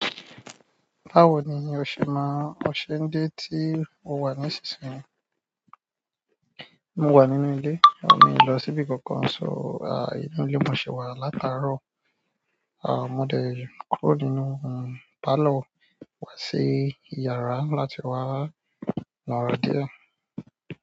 Báwo ni o ṣe máa ń l, o ṣe dé tí o wà nísinsìnyí? Mo wà nínú ilé, mi ò ní lọ síbi kankan. So, inú ilé mo ṣi wà látàárọ̀. Mo dẹ kúrò nínú parlour wá sí ìyàrá láti wá no ara díẹ̀.